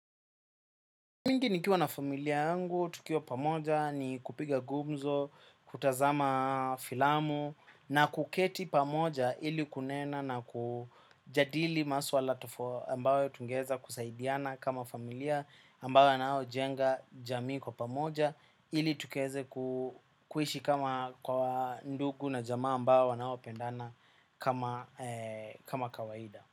Mingi nikiwa na familia yangu, tukiwa pamoja ni kupiga gumzo, kutazama filamu na kuketi pamoja ili kunena na kujadili maswala tofa ambayo tungeza kusaidiana kama familia ambayo yanayo jenga jamii kwa pamoja ili tukaeze kuishi kama kwa ndugu na jama ambao wanao pendana kama kawaida.